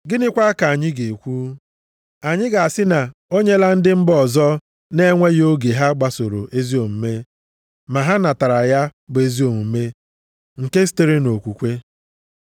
Gịnịkwa ka anyị ga-ekwu? Anyị ga-asị na o enyela ndị mba ọzọ na-enweghị oge ha gbasoro ezi omume, ma ha natara ya, bụ ezi omume nke sitere nʼokwukwe,